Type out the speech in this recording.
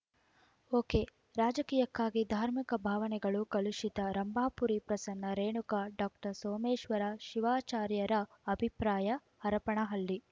ಒಕೆರಾಜಕೀಯಕ್ಕಾಗಿ ಧಾರ್ಮಿಕ ಭಾವನೆಗಳು ಕಲುಷಿತ ರಂಭಾಪುರಿ ಪ್ರಸನ್ನ ರೇಣುಕ ಡಾಕ್ಟರ್ ಸೋಮೇಶ್ವರ ಶಿವಾಚಾರ್ಯರ ಅಭಿಪ್ರಾಯ ಹರಪನಹಳ್ಳಿ